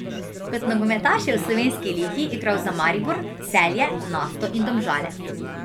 Kot nogometaš je v slovenski ligi igral za Maribor, Celje, Nafto in Domžale.